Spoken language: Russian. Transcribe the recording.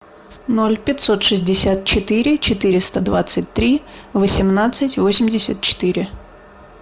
ноль пятьсот шестьдесят четыре четыреста двадцать три восемнадцать восемьдесят четыре